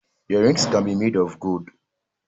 Earrings can be made of gold